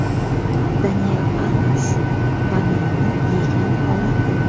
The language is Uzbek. Daniel Alves bananni yegan holati.